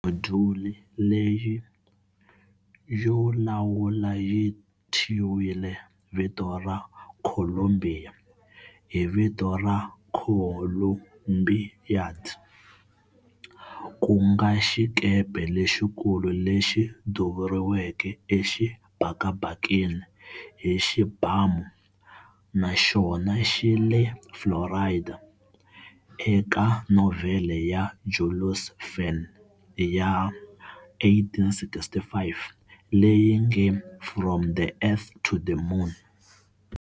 Modyuli leyi yo lawula yi thyiwile vito ra"Columbia" hi vito ra "Columbiad", ku nga xikepe lexikulu lexi duvuriweke exibakabakeni hi xibamu, na xona xi le Florida, eka novhele ya Jules Verne ya 1865 "leyi nge From the Earth to the Moon".